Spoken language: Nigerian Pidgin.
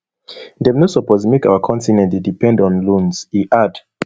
dem no suppose make our continent dey depend on loans e add